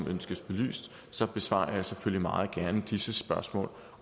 ønskes belyst så besvarer jeg selvfølgelig meget gerne disse spørgsmål